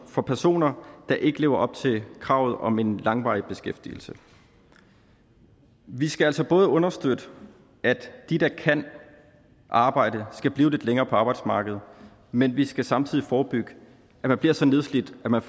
for personer der ikke lever op til kravet om en langvarig beskæftigelse vi skal altså både understøtte at de der kan arbejde skal blive lidt længere på arbejdsmarkedet men vi skal samtidig forebygge at man bliver så nedslidt at man